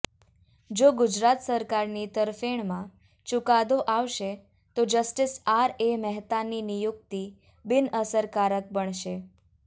જો ગુજરાત સરકારની તરફેણમાં ચૂકાદો આવશે તો જસ્ટિસ આર એ મહેતાની નિયુક્તિ બિનઅસરકારક બનશે